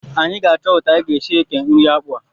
Anyị ga-achọ etu anyị ga-esi eke nri akpụ a